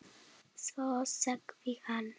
Svo sagði hann